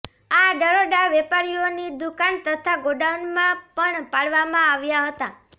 આ દરોડા વેપારીઓની દુકાન તથા ગોડાઉનમાં પણ પાડવામાં આવ્યા હતા